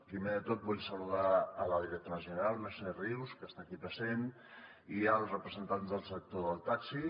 primer de tot vull saludar la directora general mercè rius que està aquí present i els representants del sector del taxi